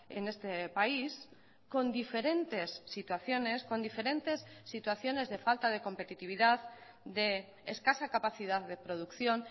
en este país con diferentes situaciones con diferentes situaciones de falta de competitividad de escasa capacidad de producción